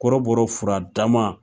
Kɔrɔbɔrɔw fura dama.